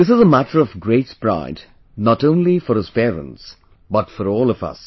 This is a matter of great pride not only for his parents but for all of us